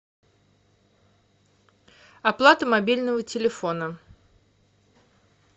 оплата мобильного телефона